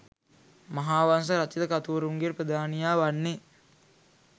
මහාවංශ රචිත කතුවරුන්ගේ ප්‍රධානියා වන්නේ